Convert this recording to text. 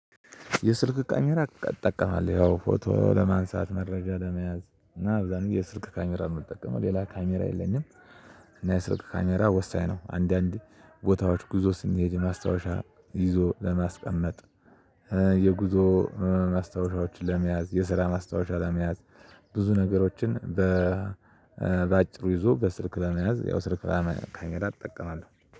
የስልክ ካሜራ ትጠቀማለህ ያው ፎቶ ለማንሳት መረጃ ለመያዝ እና አብዛን የስልክ ካሜራ ነው የምትጠቀመው ሌላ ካሜራ የለኝም። እና የስልክ ካሜራ ወሳኝ ነው። አንዳንድ ቦታዎች ጉዞ ስንሄድ ማስታወሻ ይዞ ለማስቀመጥ የጉዞ ማስታወሻዎችን ለመያዝ የስራ ማስታወሻ ለመያዝ ብዙ ነገሮችን በ በአጭሩ ይዞ በስልክ ለመያዝ። ያው ስልክ ለመካኘዳት እጠቀማለሁ